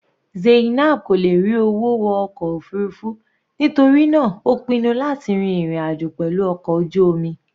Zainab kò lè rí owó wọ ọkọ̀ òfurufú nítorí náà ó pinnu láti rin ìrìn àjò pẹ̀lú ọkọ̀ ojú omi.